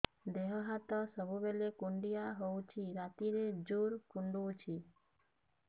ଦେହ ହାତ ସବୁବେଳେ କୁଣ୍ଡିଆ ହଉଚି ରାତିରେ ଜୁର୍ କୁଣ୍ଡଉଚି